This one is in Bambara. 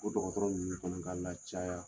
Ko dɔgɔtɔrɔ ninnu fana ka lacaya.